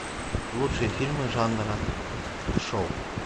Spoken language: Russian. лучшие фильмы жанра шоу